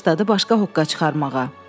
İndi də başladı başqa hoqqa çıxarmağa.